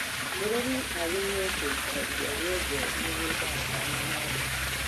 Mũrĩmi agĩrĩirwo kũruta ria rĩothe mũgũnda atanahanda.